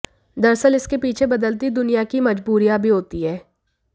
दरअसल इसके पीछे बदलती दुनिया की मजबूरियां भी होती हैं